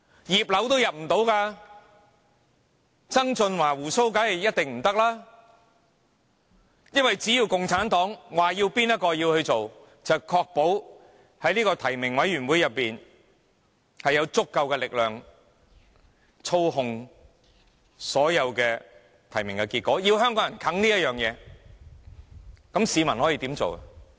"葉劉"都無法入閘，曾俊華當然一定不可以，因為只要共產黨表示由何人擔任行政長官，便確保在提名委員會中有足夠力量操控所有提名結果，要香港人硬吃這回事，市民可以怎樣做呢？